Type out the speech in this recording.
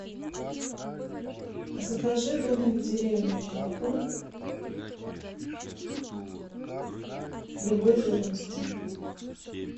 закажи домик в деревне молоко любой жирности